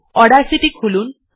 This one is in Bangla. অডাসিটি খুলুন